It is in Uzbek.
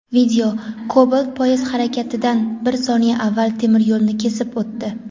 Video: Cobalt poyezd harakatidan bir soniya avval temir yo‘lni kesib o‘tdi.